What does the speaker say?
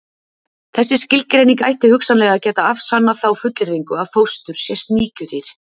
Þessi skilgreining ætti hugsanlega að geta afsannað þá fullyrðingu að fóstur sé sníkjudýr.